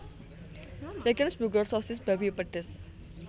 Regensburger sosis babi pedes